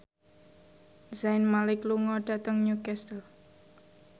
Zayn Malik lunga dhateng Newcastle